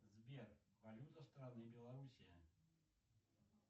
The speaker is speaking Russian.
сбер валюта страны белоруссия